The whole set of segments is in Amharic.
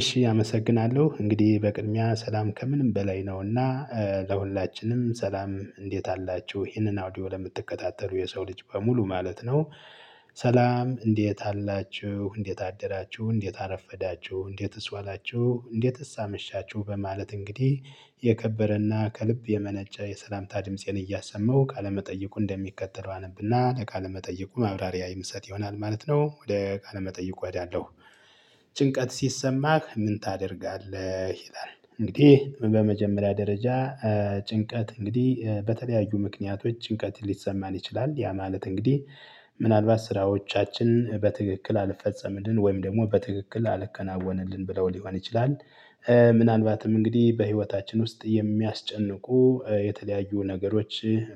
እሺ አመሰግናለሁ እንግዲህ በቅድሚያ ሰላም ከምንም በላይ ነው፤ እና ለሁላችንም ሰላም እንዴት አላችሁ ይሄንን አውዲዮ ለምትከታተሉ የሰው ልጅ በሙሉ ማለት ነው። ሰላም እንዴት አላችሁ እንዴት አደራችሁ እንዴት አረፈዳችሁ እንዴትስ ዋላችሁ እንዴትስ አመሻችሁ፤ በማለት እንግዲህ የከበረ እና ከልብ የመነጨ የሰላምታ ድምፄን እያሰማው ቃለመጠየቁን እንደሚከተለው አነብ እና ለቃለመጠየቁ ማብራሪያ የምሰጥ ይሆናል ማለት ነው። ወደ ቃለ መጠየቁ እሄዳለው። ጭንቀት ሲሰማህ ምን ታደርጋለህ? ይላል። እንግዲህ በመጀመሪያ ደረጃ ጭንቀት እንግዲህ በተለያዩ ምክንያቶች ጭንቀት ሊሰማን ይችላል። ያ ማለት እንግዲህ ምናልባት ስራዎቻችን በትክክል አልፈፀምልን ወይም ደግሞ በትክክል አልከናወንልን ብለው ሊሆን ይችላል። ምናልባትም እንግዲህ በህይወታችን ውስጥ የሚያስጨንቁ የተለያዩ ነገሮች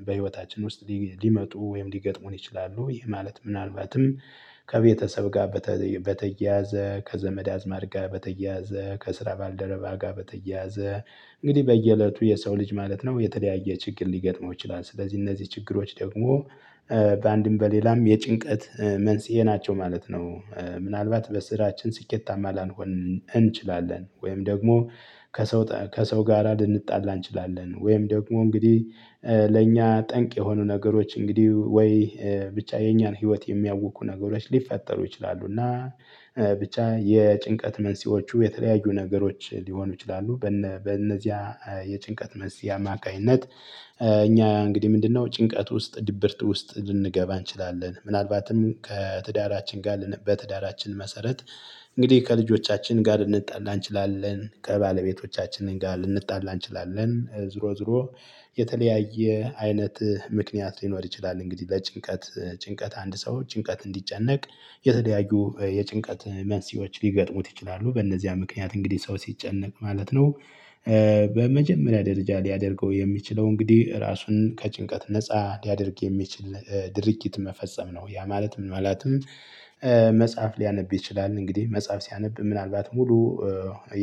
በህይወታችን ውስጥ ሊመጡ ወይም ሊገጥሙን ይችላሉ። ይህ ማለት ምናልባትም ከቤተሰብ ጋር በተያያዘ ከዘመድ አዝማድ ጋር በተያያዘ ከስራ ባልደረባ ጋር በተያያዘ እንግዲህ በየእለቱ የሰው ልጅ ማለት ነው የተለያየ ችግር ሊገጥመው ይችላል። ስለዚህ እነዚህ ችግሮች ደግሞ በአንድም በሌላም የጭንቀት መንስኤ ናቸው ማለት ነው። ምናልባት በስራችን ስኬታማ ላንሆን እንችላለን፤ ወይም ደግሞ ከሰው ጋር ልንጣላ እንችላለን። ወይም ደግሞ እንግዲህ ለእኛ ጠንቅ የሆኑ ነገሮች እንግዲህ ወይ ብቻ የኛን ህይወት የሚያውኩ ነገሮች ሊፈጠሩ ይችላሉ። እና ብቻ የጭንቀት መንስኤዎቹ የተለያዩ ነገሮች ሊሆኑ ይችላሉ፤ በነዚያ የጭንቀት መንስኤ አማካይነት እኛ እንግዲህ ምንድነው ጭንቀት ውስጥ ድብርት ውስጥ ልንገባ እንችላለን። ምናልባትም ከትዳራችን ጋር በትዳራችን መሰረት እንግዲህ ከልጆቻችን ጋር ልንጣላ እንችላለን። ከባለቤቶቻችን ጋር ልንጣላ እንችላለን። ዞሮ ዞሮ የተለያየ አይነት ምክንያት ሊኖር ይችላል እንግዲህ በጭንቀት ጭንቀት አንድ ሰው ጭንቀት እንዲጨነቅ የተለያዩ የጭንቀት መንስኤዎች ሊገጥሙት ይችላሉ። በእነዚያ ምክንያት እንግዲህ ሰው ሲጨነቅ ማለት ነው በመጀመሪያ ደረጃ ሊያደርገው የሚችለው እንግዲህ ራሱን ከጭንቀት ነፃ ሊያደርግ የሚችል ድርጊት መፈጸም ነው። ያ ማለት ማለትም መጽሐፍ ሊያነብ ይችላል። እንግዲህ መጽሐፍ ሲያነብ ምናልባት ሙሉ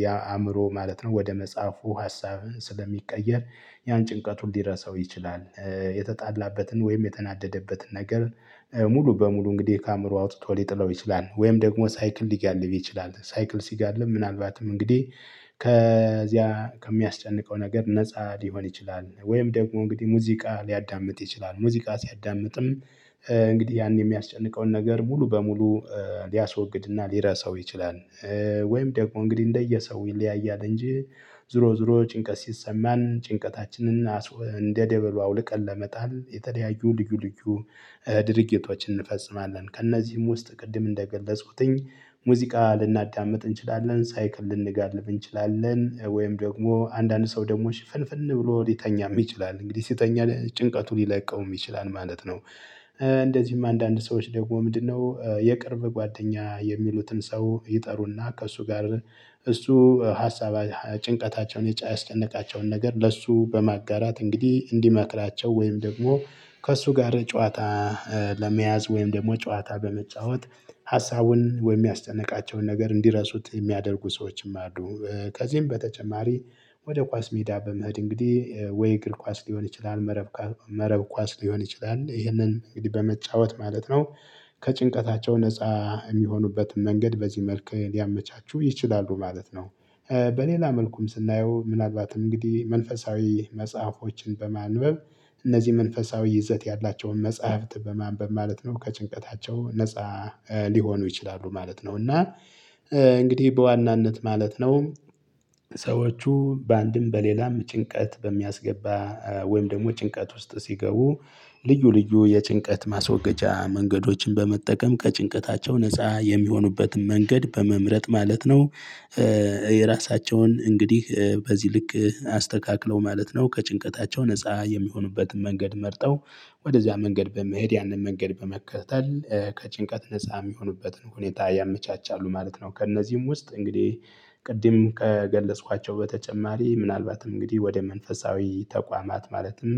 ያ አእምሮ ማለት ነው ወደ መጽሐፉ ሀሳብ ስለሚቀየር፣ ያን ጭንቀቱን ሊረሳው ይችላል። የተጣላበትን ወይም የተናደደበትን ነገር ሙሉ በሙሉ እንግዲህ ከአእምሮ አውጥቶ ሊጥለው ይችላል። ወይም ደግሞ ሳይክል ሊጋልብ ይችላል። ሳይክል ሲጋልብ ምናልባትም እንግዲህ ከዚያ ከሚያስጨንቀው ነገር ነፃ ሊሆን ይችላል። ወይም ደግሞ እንግዲህ ሙዚቃ ሊያዳምጥ ይችላል። ሙዚቃ ሲያዳምጥም እንግዲህ ያን የሚያስጨንቀውን ነገር ሙሉ በሙሉ ሊያስወግድ እና ሊረሳው ይችላል። ወይም ደግሞ እንግዲህ እንደየሰው ይለያያል እንጂ ዞሮ ዞሮ ጭንቀት ሲሰማን ጭንቀታችንን እንደ ደበሎ አውልቀን ለመጣን የተለያዩ ልዩ ልዩ ድርጊቶችን እንፈፅማለን። ከእነዚህም ውስጥ ቅድም እንደገለፅኩት ሙዚቃ ልናዳምጥ እንችላለን። ሳይክል ልንጋልብ እንችላለን። ወይም ደግሞ አንዳንድ ሰው ደግሞ ሽፍንፍን ብሎ ሊተኛም ይችላል፤ እንግዲህ ሲተኛ ጭንቀቱ ሊለቀውም ይችላል ማለት ነው። እንደዚህም አንዳንድ ሰዎች ደግሞ ምንድነው የቅርብ ጓደኛ የሚሉትን ሰው ይጠሩ እና ከእሱ ጋር አብረው እሱ ሀሳብ ጭንቀታቸውን ያስጨነቃቸውን ነገር ለእሱ በማጋራት እንግዲህ እንዲመክላቸው ወይም ደግሞ ከእሱ ጋር ጨዋታ ለመያዝ ወይም ደግሞ ጨዋታ በመጫወት ሀሳቡን ወይም የሚያስጨንቃቸውን ነገር እንዲረሱት የሚያደርጉ ሰዎችም አሉ። ከዚህም በተጨማሪ ወደ ኳስ ሜዳ በመሄድ እንግዲህ ወይ እግር ኳስ ሊሆን ይችላል መረብ ኳስ መረብ ኳስ ሊሆን ይችላል። ይህንን እንግዲህ በመጫወት ማለት ነው ከጭንቀታቸው ነፃ የሚሆኑበት መንገድ በዚህ መልኩ ሊያመቻቹ ይችላሉ ማለት ነው። በሌላ መልኩም ስናየው ምናልባት እንግዲህ መንፈሳዊ መጽሐፎችን በማንበብ፣ እነዚህ መንፈሳዊ ይዘት ያላቸውን መጽሐፍት በማንበብ ማለት ነው ከጭንቀታቸው ነፃ ሊሆኑ ይችላሉ ማለት ነው። እና እንግዲህ በዋናነት ማለት ነው ሰዎቹ በአንድም በሌላም ጭንቀት በሚያስገባ ወይም ደግሞ ጭንቀት ውስጥ ሲገቡ ልዩ ልዩ የጭንቀት ማስወገጃ መንገዶችን በመጠቀም ከጭንቀታቸው ነፃ የሚሆኑበትን መንገድ በመምረጥ ማለት ነው፣ የራሳቸውን እንግዲህ በዚህ ልክ አስተካክለው ማለት ነው፣ ከጭንቀታቸው ነፃ የሚሆኑበትን መንገድ መርጠው ወደዚያ መንገድ በመሄድ ያንን መንገድ በመከተል ከጭንቀት ነፃ የሚሆኑበትን ሁኔታ ያመቻቻሉ ማለት ነው። ከእነዚህም ውስጥ እንግዲህ ቅድም ከገለጽኳቸው በተጨማሪ ምናልባት እንግዲህ ወደ መንፈሳዊ ተቋማት ማለትም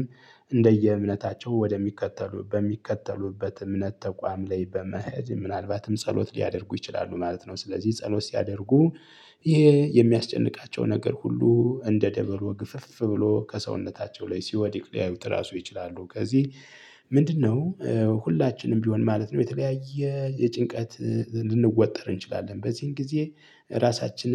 እንደየእምነታቸው ወደሚከተሉ በሚከተሉበት እምነት ተቋም ላይ በመሄድ ምናልባትም ጸሎት ሊያደርጉ ይችላሉ ማለት ነው። ስለዚህ ጸሎት ሲያደርጉ ይሄ የሚያስጨንቃቸው ነገር ሁሉ እንደ ደበሎ ግፍፍ ብሎ ከሰውነታቸው ላይ ሲወድቅ ሊያዩት ራሱ ይችላሉ። ከዚህ ምንድነው ሁላችንም ቢሆን ማለት ነው የተለያየ የጭንቀት ልንወጠር እንችላለን። በዚህን ጊዜ ራሳችንን